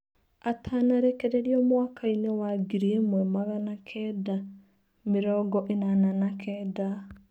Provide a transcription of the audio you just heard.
Atanarekererio mwakainĩ wa ngiri ĩmwe magana Kenda mĩrongo ĩnana na Kenda